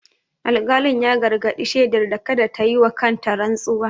Alƙalin ya gargadi shedar da kada ta yi wa kanta rantsuwa.